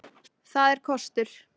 Það er kostur.